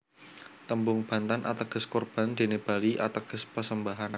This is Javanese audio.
Tembung Bantan ateges Korban dene Bali ateges persembahan